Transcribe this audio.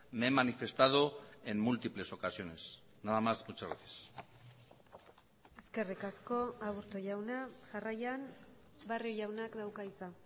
me he manifestado en múltiples ocasiones nada más muchas gracias eskerrik asko aburto jauna jarraian barrio jaunak dauka hitza